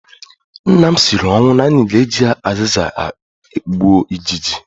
Nna m siri ọnwụ na anyị ga-eji azịza gbuo ijiji